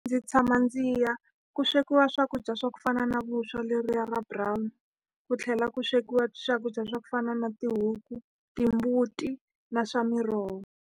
Ndzi tshama ndzi ya. Ku swekiwa swakudya swa ku fana na vuswa lebyiya bya brown, ku tlhela ku swekiwa swakudya swa ku fana na tihuku, timbuti na swa miroho.